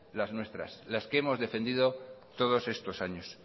las nuestras las que hemos defendido todos estos años